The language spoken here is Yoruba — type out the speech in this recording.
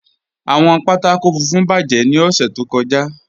Awọn pátákò fùnfún bájẹ̀ ni ọ̀ṣẹ̀ tó kọ́já.